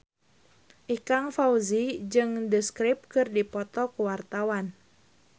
Ikang Fawzi jeung The Script keur dipoto ku wartawan